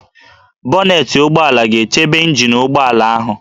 Bonetị ụgbọala ga-echebe ịnjin nke ụgbọala ahụ